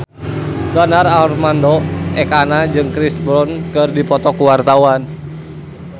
Donar Armando Ekana jeung Chris Brown keur dipoto ku wartawan